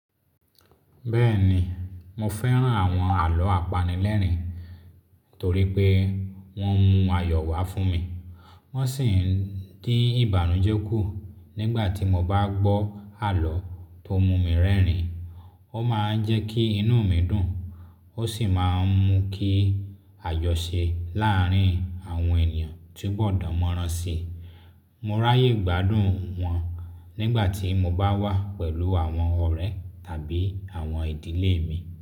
Bẹ́ẹ̀ni, mo fẹ́ràn àwọn àlọ́ apanilẹ́rìn-ín torí pé wọ́n mú ayọ̀ wá fún mi, wọ́n sì ń dín ìbànújẹ́ kù. Nigba ti mo ba gbo alo to mu mi rerin, o maa n je ki inu mi dun, o si maa n mu ki ajose laarin awon eniyan ko tubo dan moran si. Mo ráyè gbádùn wọn nígbà tí mo bá wà pẹ̀lú àwọn ọ̀rẹ́ tàbí àwọn ìdílé mi.